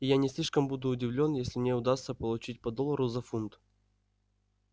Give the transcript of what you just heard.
и я не слишком буду удивлён если мне удастся получить по доллару за фунт